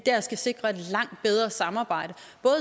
sikre et langt bedre samarbejde